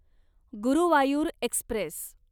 Guruvayur Express